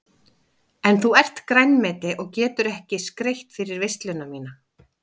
En þú ert grænmeti og getur ekki skreytt fyrir veisluna MÍNA.